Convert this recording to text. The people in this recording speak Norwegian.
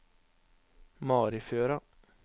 Marifjøra